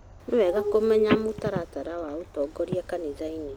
Nĩ wega kũmenya mũtaratara wa ũtongoria kanitha-inĩ